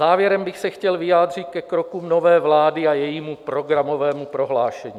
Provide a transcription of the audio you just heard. Závěrem bych se chtěl vyjádřit ke krokům nové vlády a jejímu programovému prohlášení.